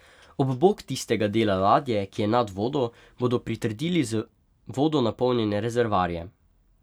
Ob bok tistega dela ladje, ki je nad vodo, bodo pritrdili z vodo napolnjene rezervoarje.